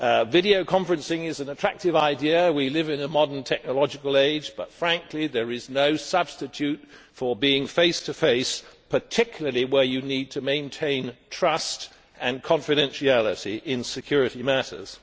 Video conferencing is an attractive idea we live in a modern technological age but frankly there is no substitute for being face to face, particularly where you need to maintain trust and confidentiality in security matters.